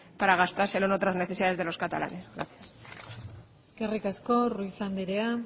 para gastárselo en otras necesidades de los catalanes gracias eskerrik asko ruiz andrea